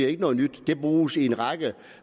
ikke noget nyt det bruges i en række